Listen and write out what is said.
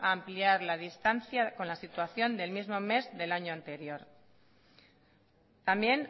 a ampliar la distancia con la situación del mismo mes del año anterior también